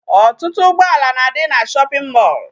Ọtụtụ ụgbọala na-adị na shopping mall.